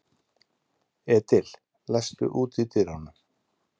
Edil, læstu útidyrunum.